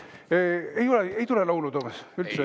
Ei tule laulu, Toomas, üldse?